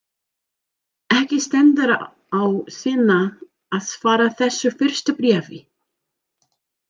Ekki stendur á Svenna að svara þessu fyrsta bréfi.